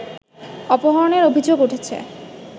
অপহরণের অভিযোগ উঠেছে